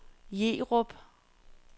Jerup